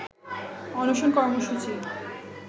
অনশন কর্মসূচি